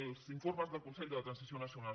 els informes del consell per a la transició nacional